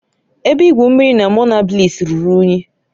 Ebe igwu mmiri na Monabliss ruru unyi